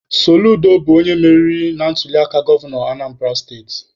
Soludo bụ onye meriri na ntuliaka gọvanọ Anambara steti.